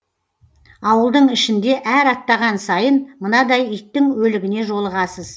ауылдың ішінде әр аттаған сайын мынадай иттің өлігіне жолығасыз